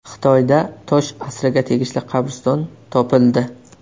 Xitoyda tosh asriga tegishli qabriston topildi.